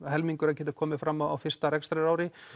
helmingur að geta komið fram á fyrsta rekstrarári